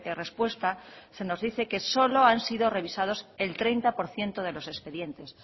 respuesta se nos dice que solo han sido revisados el treinta por ciento de los expedientes